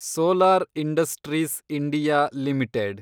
solar Industries India limited